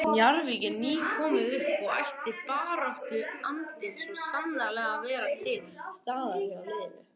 Njarðvík er nýkomið upp og ætti baráttuandinn svo sannarlega að vera til staðar hjá liðinu.